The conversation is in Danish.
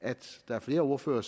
at flere ordførere